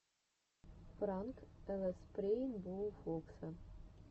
пранк лспрейнбоуфокса